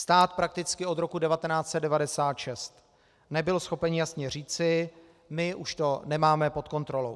Stát prakticky od roku 1996 nebyl schopen jasně říci "my už to nemáme pod kontrolou".